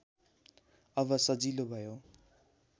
अब सजिलो भयो